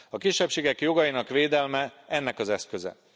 A kisebbségek jogainak védelme ennek az eszköze.